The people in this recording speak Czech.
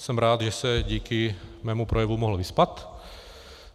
Jsem rád, že se díky mému projevu mohl vyspat.